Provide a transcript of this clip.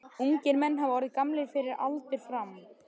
Ungir menn hafa orðið gamlir fyrir aldur fram.